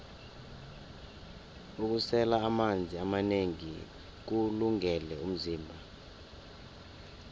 ukusela amanzi amanengi kuwulungele umzimba